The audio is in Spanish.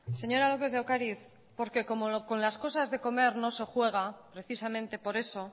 señora lópez de ocariz porque como con las cosas se comer no se juega precisamente por eso